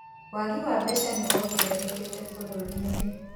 Wagi wa mbeca nĩwongererekete bũrũrinĩ.